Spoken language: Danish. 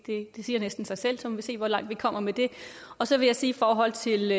siger næsten sig selv så må vi se hvor langt vi kommer med det og så vil jeg sige i forhold til